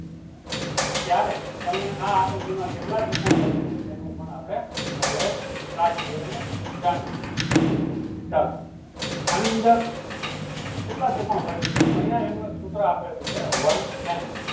ત્યારે તમને આ આકૃતિમાં કેટલા ત્રિકોણ બને છે એનું પણ આપણે નોલેજ રાખજે અને જાણીએ ચાલો આની અંદર કેટલા ત્રિકોણ બને છે? તો અહિયાં એનું એક સૂત્ર આપેલું છે one n